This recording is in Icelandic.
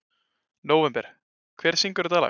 Nóvember, hver syngur þetta lag?